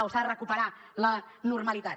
o s’ha de recuperar la normalitat